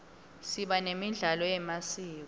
siba nemidlalo yemasiko